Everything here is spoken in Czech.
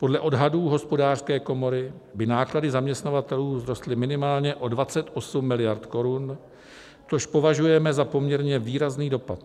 Podle odhadů Hospodářské komory by náklady zaměstnavatelů vzrostly minimálně o 28 miliard korun, což považujeme za poměrně výrazný dopad.